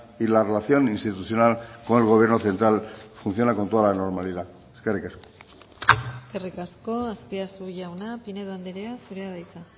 y la relación institucional con el gobierno central funciona con toda la normalidad eskerrik asko eskerrik asko azpiazu jauna pinedo andrea zurea da hitza